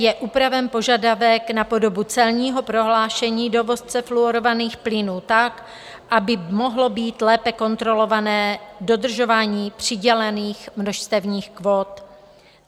Je upraven požadavek na podobu celního prohlášení dovozce fluorovaných plynů tak, aby mohlo být lépe kontrolovatelné dodržování přidělených množstevních kvót.